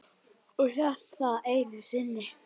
Ég hélt það einu sinni.